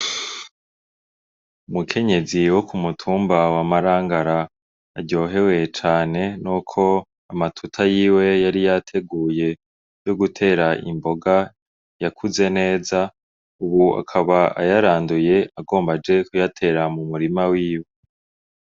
Umukenyezi wo ku mutumba wa Marangara aryohewe cane n'uko amatuta yiwe yari yateguye yo gutera imboga yakuze neza. Ubu akaba ayaranduye agomba aje kuyatera mu murima wiwe.